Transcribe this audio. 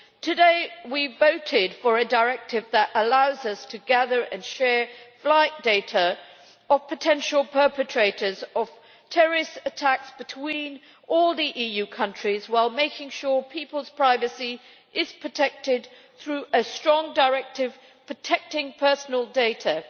Today we voted for a directive that allows us to gather and share flight data of potential perpetrators of terrorist attacks between all the EU countries, while making sure people's privacy is protected through a strong directive protecting personal data.